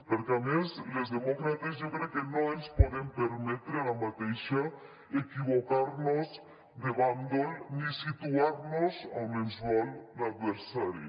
perquè a més les demòcrates jo crec que no ens podem permetre ara mateix equivocar nos de bàndol ni situar nos a on ens vol l’adversari